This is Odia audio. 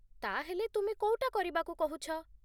ତା'ହେଲେ, ତୁମେ କୋଉଟା କରିବାକୁ କହୁଛ ?